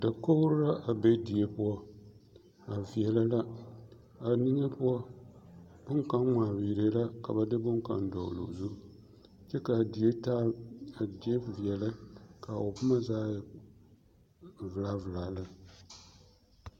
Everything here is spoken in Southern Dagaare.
Dakogiri la a be die poɔ, a veɛlɛ la, a niŋe poɔ boŋkaŋa ŋmaa viiree la ka ba de boŋkaŋ dɔgeloo zu kyɛ k'a die taa a die veɛlɛ ka o boma zaa e velaa velaa lɛ.